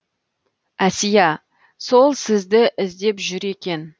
әсия сол сізді іздеп жүр екен